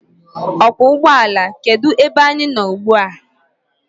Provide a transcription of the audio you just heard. Ọkwọụgbọala, kedu ebe anyị nọ ugbua?